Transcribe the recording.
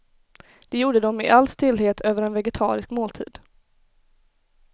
Det gjorde de i all stillhet över en vegetarisk måltid.